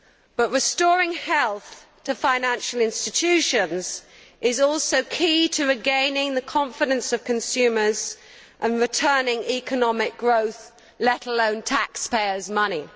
But restoring health to financial institutions is also key to regaining the confidence of consumers and returning economic growth, let alone taxpayers' money.